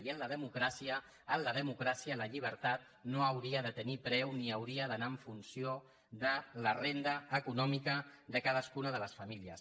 i en la democràcia la llibertat no hauria de tenir preu ni hauria d’anar en funció de la renda econòmica de cadascuna de les famílies